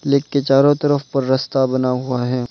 Lake के चारों तरफ पर रस्ता बना हुआ है।